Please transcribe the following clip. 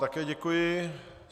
Také děkuji.